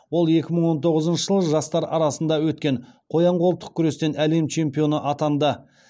ол екі мың он тоғызыншы жылы жастар арасында өткен қоян қолтық күрестен әлем чемпионы атанды